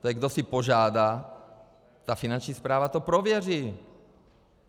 To je, kdo si požádá, ta Finanční správa to prověří.